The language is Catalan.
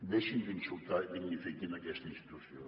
deixin d’insultar i dignifiquin aquesta institució